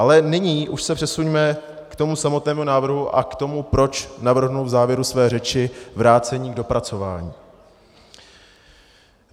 Ale nyní už se přesuňme k tomu samotnému návrhu a k tomu, proč navrhnu v závěru své řeči vrácení k dopracování.